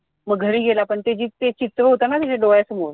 मग घरी गेला पण ते जे चित्र होतं ना त्याच्या डोळ्यासमोर